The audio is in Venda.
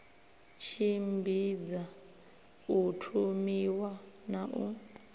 tshimbidza u thomiwa na u